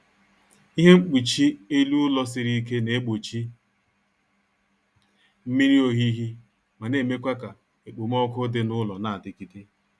Ihe mkpuchi elu ụlọ siri ike na-egbochi mmiri ohihi ma na-emekwa ka ekpomọku dị n'ụlọ na-adigide